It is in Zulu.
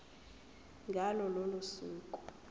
ngalo lolo suku